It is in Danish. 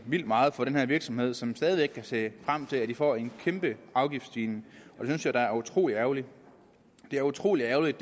vildt meget for den her virksomhed som stadig væk kan se frem til at den får en kæmpe afgiftsstigning og jeg da er utrolig ærgerligt det er utrolig ærgerligt